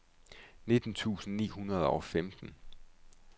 nitten tusind ni hundrede og femten